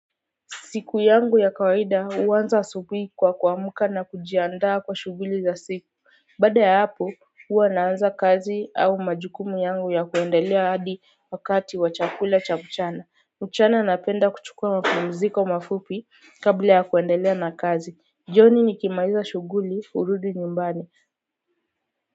Siku yangu ya kawaida huanza asubuhi kwa kuamka na kujiandaa kwa shughuli za siku. Baada ya hapo, huwa naanza kazi au majukumu yangu ya kuendelea hadi wakati wa chakula cha mchana. Mchana napenda kuchukua mapumziko mafupi kabla ya kuendelea na kazi. Jioni nikimaliza shughuli hurudi nyumbani.